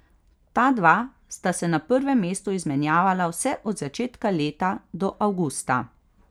Ta dva sta se na prvem mestu izmenjevala vse od začetka leta do avgusta.